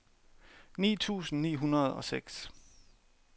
ni tusind ni hundrede og seks